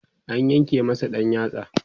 an yanke masa ɗan yatsa